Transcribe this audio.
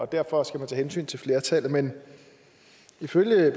derfor skal tage hensyn til flertallet men ifølge